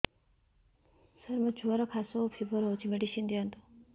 ସାର ମୋର ଛୁଆର ଖାସ ଓ ଫିବର ହଉଚି ମେଡିସିନ ଦିଅନ୍ତୁ